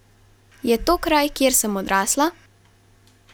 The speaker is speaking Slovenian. Je to kraj, kjer sem odrasla?